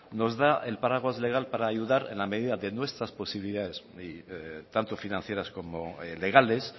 nos da el paraguas legal para ayudar en la medida de nuestras posibilidades tanto financieras como legales